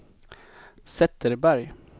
Zetterberg